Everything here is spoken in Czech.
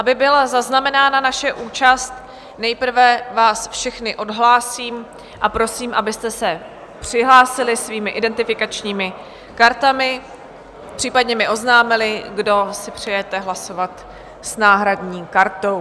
Aby byla zaznamenána naše účast, nejprve vás všechny odhlásím a prosím, abyste se přihlásili svými identifikačními kartami, případně mi oznámili, kdo si přejete hlasovat s náhradní kartou.